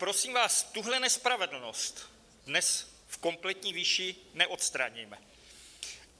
Prosím vás, tuhle nespravedlnost dnes v kompletní výši neodstraníme.